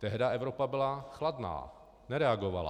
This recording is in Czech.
Tehdy Evropa byla chladná, nereagovala.